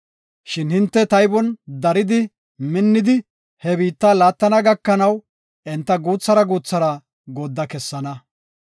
Shin hinte taybon daridi, minnidi, he biitta laattana gakanaw enta guuthara guuthara goodda kessana.